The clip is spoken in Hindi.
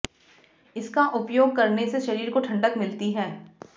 इसका उपयोग करने से शरीर को ठंडक मिलती है